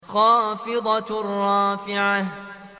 خَافِضَةٌ رَّافِعَةٌ